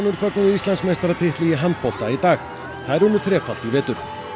fögnuðu Íslandsmeistaratitli í handbolta í dag þær unnu þrefalt í vetur